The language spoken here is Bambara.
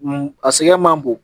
A sɛgɛn man bon